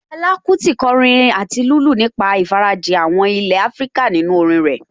Fẹlá Kúti kọrin àti lùlù nípa ìfarajìn àwọn ilé Áfríkà nínú orin rẹ̀